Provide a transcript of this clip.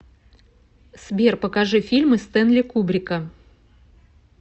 сбер покажи фильмы стэнли кубрика